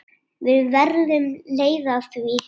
Við verðum leið á því.